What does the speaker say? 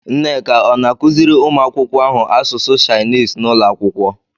Nneka ọ̀ na-akụziri ụmụ akwụkwọ ahụ asụsụ Shainis n'ụlọ akwụkwọ?